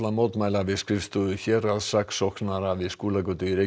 mótmæla við skrifstofu héraðssaksóknara við Skúlagötu